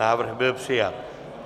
Návrh byl přijat.